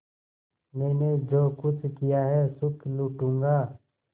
मैंने जो कुछ किया है सुख लूटूँगा